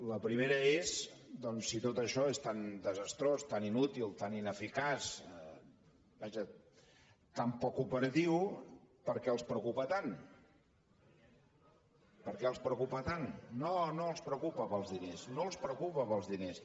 la primera és doncs si tot això és tan desastrós tan inútil tan ineficaç vaja tan poc operatiu per què els preocupa tant per què els preocupa tant no no no els preocupa pels diners no els preocupa pels diners